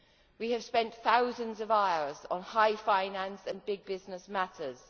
We have spent thousands of hours on high finance and big business matters.